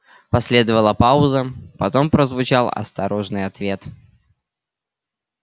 последовала пауза потом прозвучал осторожный ответ